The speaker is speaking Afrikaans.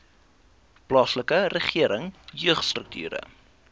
plaaslike regering jeugstrukture